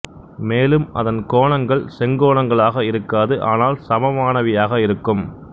மேலும் அதன் கோணங்கள் செங்கோணங்களாக இருக்காது ஆனால் சமமானவையாக இருக்கும்